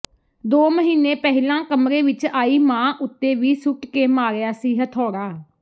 ਦੋ ਮਹੀਨੇ ਪਹਿਲਾਂ ਕਮਰੇ ਵਿੱਚ ਆਈ ਮਾਂ ਉੱਤੇ ਵੀ ਸੁੱਟ ਕੇ ਮਾਰਿਆ ਸੀ ਹਥੌੜਾ